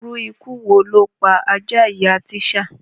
Irú ikú wo ló pa àjà ìyá Tíṣá?